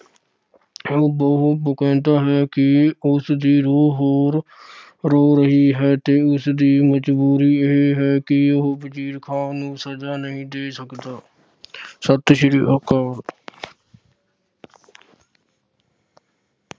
ਉਹ ਬੋਹ ਅਹ ਕਹਿੰਦਾ ਹੈ ਕਿ ਉਸ ਦੀ ਰੂਹ ਹੋਰ ਰੋ ਰਹੀ ਹੈ ਤੇ ਉਸਦੀ ਮਜਬੂਰੀ ਇਹ ਹੈ ਕਿ ਉਹ ਵਜੀਰ ਖਾਨ ਨੂੰ ਸਜਾ ਨਹੀਂ ਦੇ ਸਕਦਾ। ਸਤਿ ਸ਼੍ਰੀ ਅਕਾਲ।